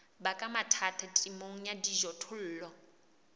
baka mathata temong ya dijothollo